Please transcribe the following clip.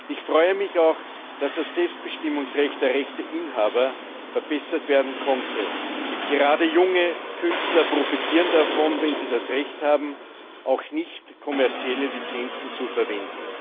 Ich freue mich auch, dass das Selbstbestimmungsrecht der Rechteinhaber verbessert werden konnte. Gerade junge Künstler profitieren davon, wenn sie das Recht haben, auch nichtkommerzielle Lizenzen zu verwenden.